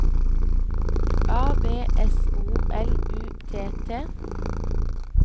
A B S O L U T T